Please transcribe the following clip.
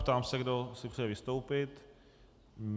Ptám se, kdo si přeje vystoupit?